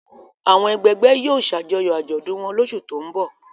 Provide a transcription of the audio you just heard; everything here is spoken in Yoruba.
Àwọn ẹgbẹgbẹ́ yóò ṣàjọyọ̀ àjọ̀dún wọn lóṣù tó ń bọ̀.